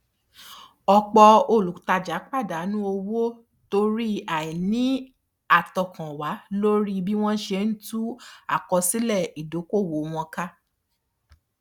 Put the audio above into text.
ọpọ olùtajà pàdánù owó torí àìní àtọkànwá lórí bí wọn ṣe tú àkósílẹ ìdokoowó wọn ká